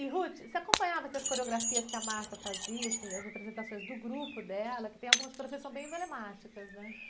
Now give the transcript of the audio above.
E, você acompanhava essas coreografias que a Martha fazia, assim, das apresentações do grupo dela, que tem algumas coreografias que são bem emblemáticas, né?